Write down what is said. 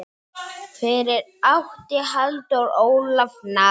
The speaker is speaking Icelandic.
Fyrir átti Halldór Ólaf Natan.